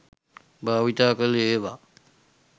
භාවිතා කළ ඒවා